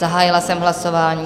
Zahájila jsem hlasování.